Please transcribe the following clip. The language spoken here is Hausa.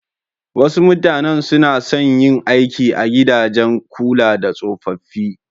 Wasu mutanen su na son yin aiki a gidajen kula da tsofaffi.